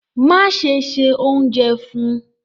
Máṣẹ̀ ṣẹ ọ̀unjẹ fun!